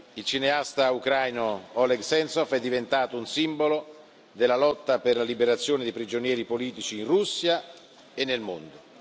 Il cineasta ucraino Oleg Sentsov è diventato un simbolo della lotta per la liberazione dei prigionieri politici in Russia e nel mondo.